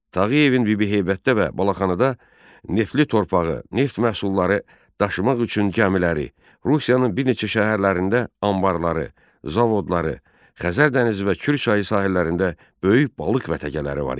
Tağıyevin Bibiheybətdə və Balaxanıda neftli torpağı, neft məhsulları daşımaq üçün gəmiləri, Rusiyanın bir neçə şəhərlərində anbarları, zavodları, Xəzər dənizi və Kür çayı sahillərində böyük balıq vətəgələri var idi.